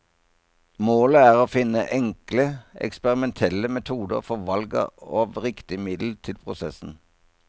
Målet er å finne enkle eksperimentelle metoder for valg av riktig middel til prosessen.